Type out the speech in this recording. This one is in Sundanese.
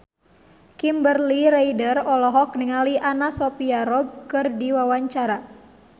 Kimberly Ryder olohok ningali Anna Sophia Robb keur diwawancara